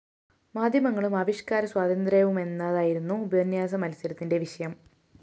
മാധ്യമങ്ങളും ആവിഷ്‌കാര സ്വാതന്ത്ര്യവുമെന്നതായിരുന്നു ഉപന്യാസ മത്സരത്തിന്റെ വിഷയം